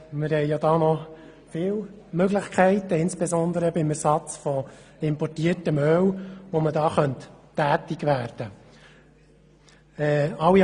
Wir haben da noch viele Möglichkeiten – insbesondere beim Ersatz von importiertem Öl –, bei denen man tätig werden könnte.